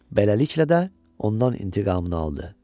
Beləliklə də ondan intiqamını aldı.